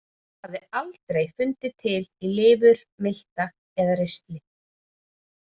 Hún hafði aldrei fundið til í lifur, milta eða ristli.